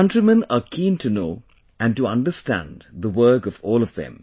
The countrymen are keen to know and to understand the work of all of them